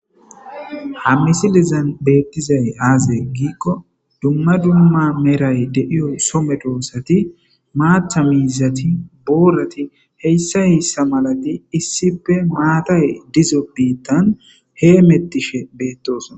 ha misilezan beettizay aazee giikko dumma dumma meray de7iyo so medoosati maatha miizati boorati hsssa hessa malati issippe maatay dizo biittan hee mettishe beettosona